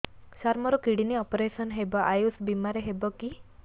ସାର ମୋର kidney operation ହେବ ଆୟୁଷ ବିମାରେ ହେବ କି